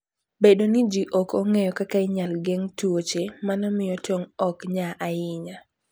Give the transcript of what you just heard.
Bedo ni ji ok ong'eyo kaka inyalo geng' tuoche, mano miyo tong' ok nya ahinya.